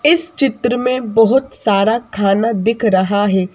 इस चित्र में बहुत सारा खाना दिख रहा है।